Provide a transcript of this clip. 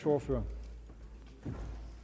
ordfører